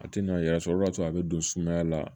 A tɛ na yɛrɛ sɔrɔ o b'a sɔrɔ a bɛ don sumaya la